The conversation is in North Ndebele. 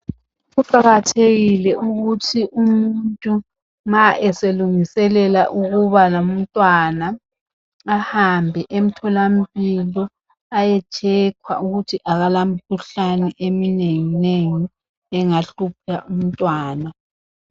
Kuqakathekile ukuthi umuntu nxa eselungiselela ukuba lomntwana ahambe emtholampilo ayetshekhwa ukuthi akalamikhuhlane eminenginengi engahlupha umntwana.